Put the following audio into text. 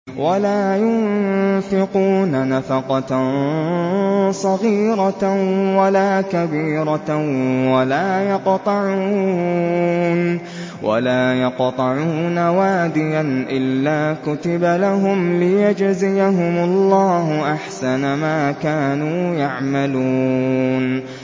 وَلَا يُنفِقُونَ نَفَقَةً صَغِيرَةً وَلَا كَبِيرَةً وَلَا يَقْطَعُونَ وَادِيًا إِلَّا كُتِبَ لَهُمْ لِيَجْزِيَهُمُ اللَّهُ أَحْسَنَ مَا كَانُوا يَعْمَلُونَ